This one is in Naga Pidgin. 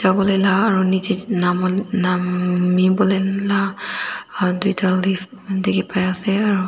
jawolae la aro nichae nam nam nambi wolae la tuita lef dikhiase aro.